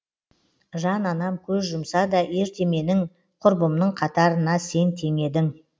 жан анам көз жұмса да ерте менің құрбымның қатарына сен теңедің